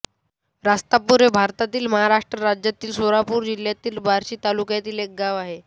रास्तापूर हे भारतातील महाराष्ट्र राज्यातील सोलापूर जिल्ह्यातील बार्शी तालुक्यातील एक गाव आहे